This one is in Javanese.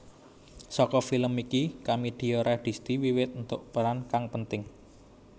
Saka film iki Kamidia Radisti wiwit entuk peran kang penting